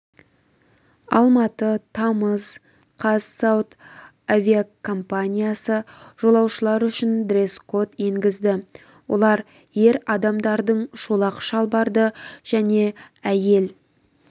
алматы тамыз қаз сауд авиакомпаниясы жолаушылар үшін дресс-код енгізді олар ер адамдардың шолақ шалбарды және әйел